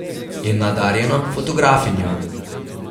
Je nadarjena fotografinja.